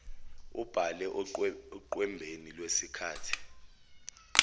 abhale oqwembeni lwesikali